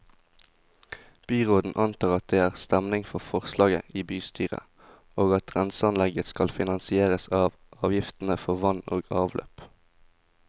Byråden antar at det er stemning for forslaget i bystyret, og at renseanlegget skal finansieres av avgiftene for vann og avløp.